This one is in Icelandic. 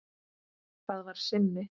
Það var Simmi.